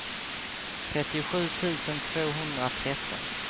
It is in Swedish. trettiosju tusen tvåhundratretton